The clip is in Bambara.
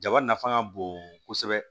Jaba nafa ka bon kosɛbɛ